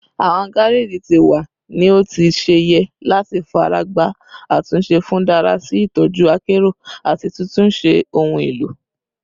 Awọn gareji ti wa ni o ti ṣe yẹ lati faragba atunse fun dara si itọju akero ati titunṣe ohun elo